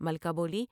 ملکہ بولی ۔